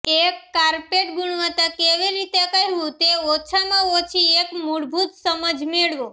એક કાર્પેટ ગુણવત્તા કેવી રીતે કહેવું તે ઓછામાં ઓછી એક મૂળભૂત સમજ મેળવો